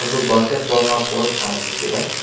ಒಂದು basketball ನಾ court ಕಾಣಿಸುತ್ತಿದೆ.